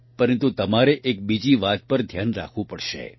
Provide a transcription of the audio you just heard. પરંતુ તમારે એક બીજી વાત પર ધ્યાન રાખવું પડશે